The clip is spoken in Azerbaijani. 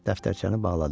Dəftərçəni bağladı.